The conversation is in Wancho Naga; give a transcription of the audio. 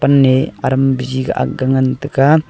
aram bujiga akga ngan tega.